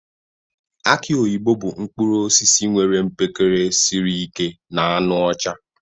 Aki oyibo bụ mkpụrụ osisi nwere mkpekere siri ike na anụ ọcha.